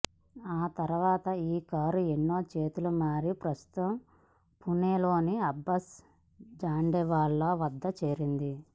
ఆ తర్వాత ఈ కారు ఎన్నో చేతులు మారి ప్రస్తుతం పూనేలోని అబ్బాస్ జండేవాలా వద్దకు చేరింది